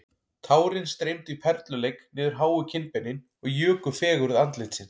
Tárin streymdu í perluleik niður háu kinnbeinin og juku fegurð andlitsins